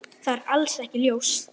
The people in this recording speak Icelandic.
Það er alls ekki ljóst.